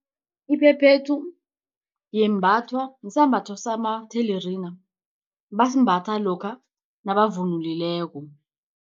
Iphephethu yembathwa sisambatho samathelerina, basimbatha lokha nabavunulileko.